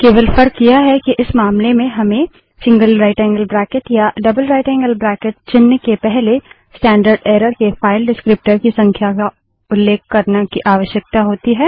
केवल फर्क यह है कि इस मामले में हमें gtया जीटीजीटी चिन्ह के पहले स्टैंडर्डएर्रर के फाइल डिस्क्रीप्टर की संख्या को उल्लेख करने की आवश्यकता होती है